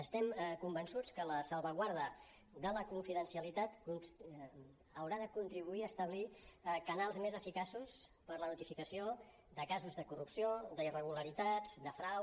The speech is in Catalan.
estem convençuts que la salvaguarda de la confidencialitat haurà de contribuir a establir canals més eficaços per a la notificació de casos de corrupció d’irregularitats de frau